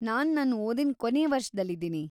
ನಾನ್‌ ನನ್‌ ಓದಿನ್ ಕೊನೇ ವರ್ಷದಲ್ಲಿದೀನಿ.